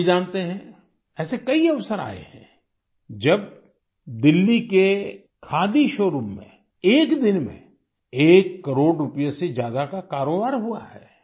आप भी जानते हैं ऐसे कई अवसर आये हैं जब दिल्ली के खादी शोरूम में एक दिन में एक करोड़ रूपए से ज्यादा का कारोबार हुआ है